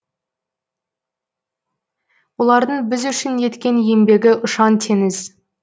олардың біз үшін еткен еңбегі ұшан теңіз